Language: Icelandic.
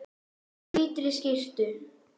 Í hvítri skyrtu.